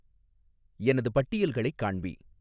எனது பட்டியல்களைக் காண்பி